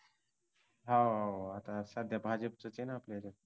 हाव हाव आता सध्या भाजपचय ना